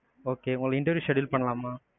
okay உங்களுக்கு interview schedule பண்லாமா?